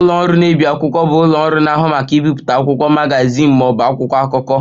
Ụlọ ọrụ na-ebi akwụkwọ bụ ụlọ ọrụ na-ahụ maka ibipụta akwụkwọ, magazin ma ọ bụ akwụkwọ akụkọ